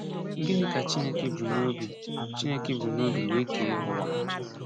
Gịnị ka Chineke bu n’obi Chineke bu n’obi were kee ụwa?